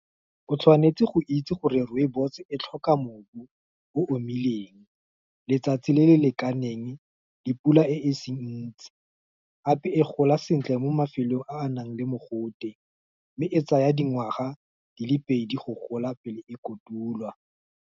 O tshwanetse go itse gore rooibos, e tlhoka mmu o omileng, letsatsi le le lekaneng, dipula e e seng ntsi, gape e gola sentle mo mafelong a a nang le mogote. Mme e tsaya dingwaga di le pedi go gola, pele e kotulwa.